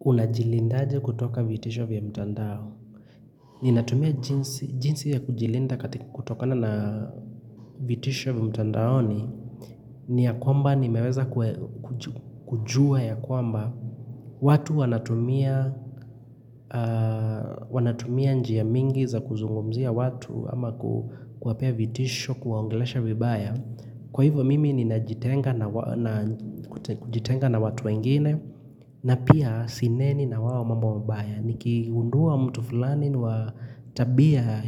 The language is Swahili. Unajilinda aje kutoka vitisho vya mtandao. Ninatumia jinsi ya kujilinda katika kutokana na vitisho vya mtandaoni. Ni ya kwamba ni meweza kujua ya kwamba. Watu wanatumia njia mingi za kuzungumzia watu ama kuwapea vitisho kuwaongelesha vibaya. Kwa hivo mimi ninajitenga na watu wengine, na pia sineni na wao mambo mbaya. Nikingundua mtu fulani watabia,